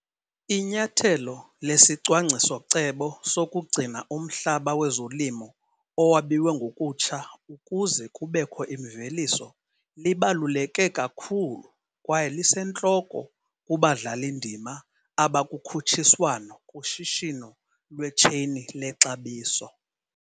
Inyathelo lesicwangciso-cebo sokugcina umhlaba wezolimo owabiwe ngokutsha ukuze kubekho imveliso libaluleke kakhulu kwaye lisentloko kubadlali-ndima abakukhutshiswano kushishino lwetsheyini lexabiso.